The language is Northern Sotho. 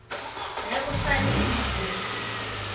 ge o sa le motswetši